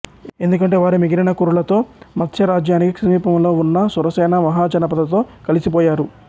ఎందుకంటే వారు మిగిలిన కురులతో మత్స్య రాజ్యానికి సమీపంలో ఉన్న సురసేన మహాజనపదతో కలిసిపోయారు